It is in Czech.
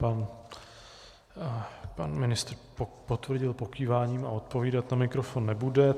Pan ministr potvrdil pokýváním a odpovídat na mikrofon nebude.